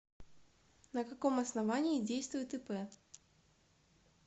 на каком основании действует ип